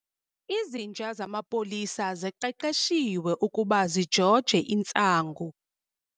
Izinja zamapolisa ziqeqeshiwe ukuba zijoje intsangu.